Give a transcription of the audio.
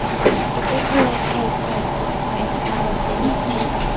Et enkelt land kan ikke peges ud, ansvaret er fælles.